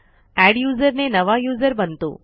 adduser ने नवा user बनतो